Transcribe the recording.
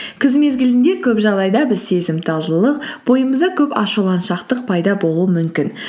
күз мезгілінде көп жағдайда біз сезімталдылық бойымызда көп ашуланшақтық пайда болуы мүмкін